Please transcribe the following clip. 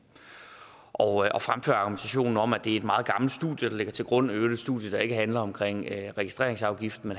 og jeg og fremfører argumentationen om at det er et meget gammelt studie der ligger til grund øvrigt et studie der ikke handler om registreringsafgiften